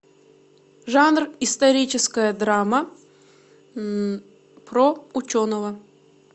жанр историческая драма про ученого